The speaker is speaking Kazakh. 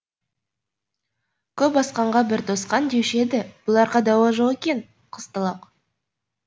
көп асқанға бір тосқан деуші еді бұларға дауа жоқ екен де қызталақ